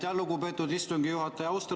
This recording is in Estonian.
Aitäh, lugupeetud istungi juhataja!